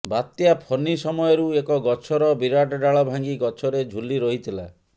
ବାତ୍ୟା ଫନି ସମୟରୁ ଏକ ଗଛର ବିରାଟ ଡାଳ ଭାଙ୍ଗି ଗଛରେ ଝୁଲି ରହିଥିଲା